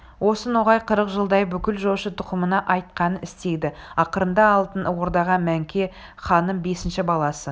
осы ноғай қырық жылдай бүкіл жошы тұқымына айтқанын істеді ақырында алтын ордаға мөңке ханның бесінші баласы